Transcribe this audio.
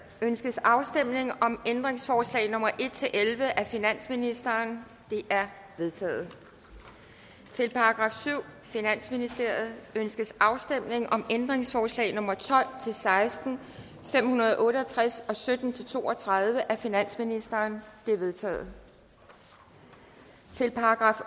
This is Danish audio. ønskes afstemning om ændringsforslag nummer en elleve af finansministeren de er vedtaget til § syvende finansministeriet ønskes afstemning om ændringsforslag nummer tolv til seksten fem hundrede og otte og tres og sytten til to og tredive af finansministeren de er vedtaget til §